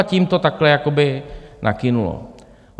A tím to takhle jakoby nakynulo.